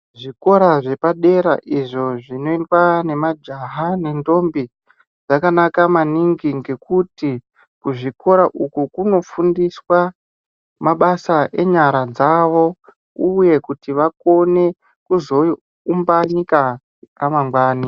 Zvikora zvepadera izvo zvinoendwa nemajaha nendombi ,zvakanaka maningi ngekuti kuzvikora uku kunofundiswa mabasa enyara dzavo ,uye kuti vakone kuzoumba nyika ramangwani.